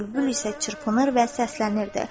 Bülbül isə çırpınır və səslənirdi.